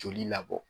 Joli labɔ